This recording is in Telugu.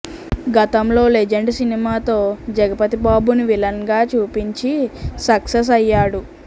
గతంలో లెజెండ్ సినిమాతో జగపతిబాబుని విలన్ గా చూపించి సక్సెస్ అయ్యాడు